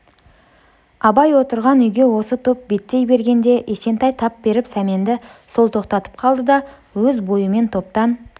абай отырған үйге осы топ беттей бергенде есентай тап беріп сәменді сол тоқтатып қалды да өз бойымен топтан